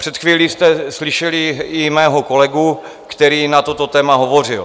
Před chvílí jste slyšeli i mého kolegu, který na toto téma hovořil.